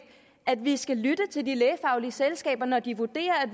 at vi skal lytte til de lægefaglige selskaber når de vurderer at